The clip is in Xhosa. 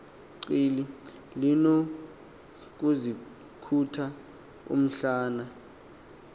qili linokuzikhotha umhlana